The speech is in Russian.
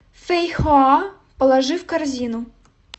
фейхоа положи в корзину